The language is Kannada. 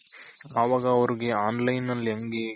ಅವಾಗ ಅವ್ರುಗೆ online ನಲ್ಲಿ ಹೆಂಗೆ